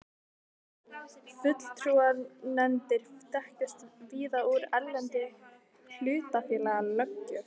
Fulltrúanefndir þekkjast víða úr erlendri hlutafélagalöggjöf.